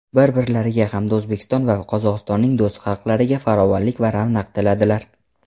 bir-birlariga hamda O‘zbekiston va Qozog‘istonning do‘st xalqlariga farovonlik va ravnaq tiladilar.